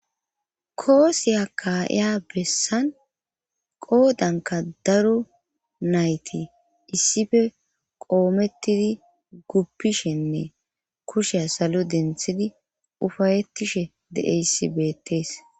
koosiya ka'iya bessan qoodanka daro nayti issife qoomettidi guppishenne kusheya salo denthidi ufayetishe deeyssi beettees